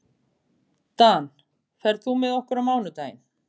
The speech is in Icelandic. Aðrir þeir sem slokuðu í sig víni úr ámunni hlógu að hinum tveim bjálfum.